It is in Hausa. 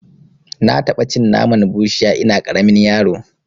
Na taɓa cin naman bushiya ina ƙaramin yaro